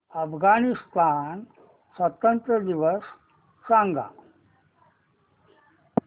अफगाणिस्तान स्वातंत्र्य दिवस सांगा